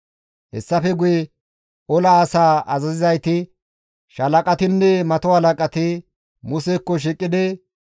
Hessafe guye ola asaa azazizayti shaalaqatinne mato halaqati Museeko shiiqidi,